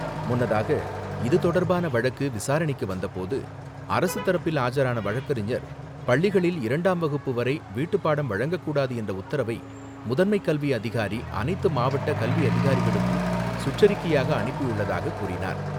முன்னதாக, இது தொடர்பான வழக்கு விசாரணைக்கு வந்தபோது அரசு தரப்பில் ஆஜரான வழக்கறிஞர் பள்ளிகளில் இரண்டாம் வகுப்பு வரை வீட்டுப்பாடம் வழங்கக்கூடாது என்ற உத்தரவை முதன்மைக் கல்வி அதிகார் அனைத்து மாவட்ட கல்வி அதிகாரிகளுக்கும் சுற்றறிக்கையாக அனுப்பியுள்ளதாகக் கூறினார்.